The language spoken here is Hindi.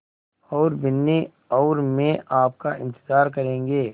और बिन्नी और मैं आपका इन्तज़ार करेंगे